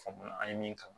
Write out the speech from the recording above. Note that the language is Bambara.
Faamuya an ye min kalan